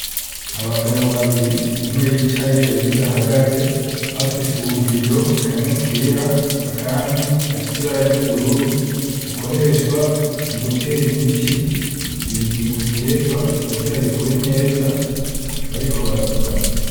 Abagabo babiri, umwe yicaye uwundi, ahagaze bafise ubu bido, kamwe kera akandi gafise ibara ry'ubururu, bukoreshwa mu gutera imiti mu bigitegwa kugira bikure neza, bariko baravugana.